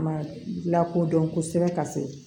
Ma lakodɔn kosɛbɛ ka se